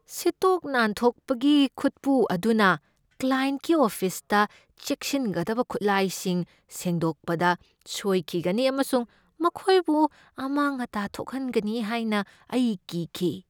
ꯁꯤꯠꯇꯣꯛ ꯅꯥꯟꯊꯣꯛꯄꯒꯤ ꯈꯨꯠꯄꯨ ꯑꯗꯨꯅ ꯀ꯭ꯂꯥꯌꯦꯟꯠꯀꯤ ꯑꯣꯐꯤꯁꯇ ꯆꯦꯛꯁꯤꯟꯒꯗꯕ ꯈꯨꯠꯂꯥꯏꯁꯤꯡ ꯁꯦꯡꯗꯣꯛꯄꯗ ꯁꯣꯏꯈꯤꯒꯅꯤ ꯑꯃꯁꯨꯡ ꯃꯈꯣꯏꯕꯨ ꯑꯃꯥꯡ ꯑꯇꯥ ꯊꯣꯛꯍꯟꯒꯅꯤ ꯍꯥꯏꯅ ꯑꯩ ꯀꯤꯈꯤ꯫